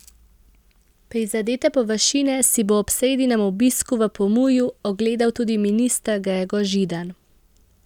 Prizadete površine si bo ob sredinem obisku v Pomurju ogledal tudi minister Gregor Židan.